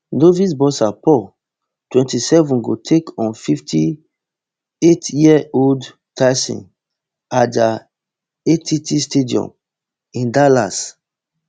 novice boxer paul twenty-seven go take on fifty-eightyearold tyson at di att stadium in dallas